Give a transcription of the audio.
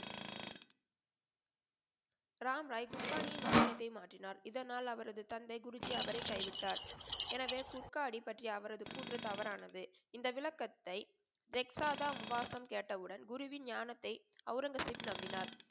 ராம் ராய் குட்பானியின் வசனத்தை மாற்றினார். இதனால் அவரது தந்தை குருஜி அவரை கைவிட்டார். எனவே குட்கா அடி பற்றி அவருடைய குற்று தவறானது. இந்த விளக்கத்தை ரெக்சாதா முகாசன் கேட்டவுடன் குருவின் ஞானத்தை அவுரங்கசீப் நம்பினார்.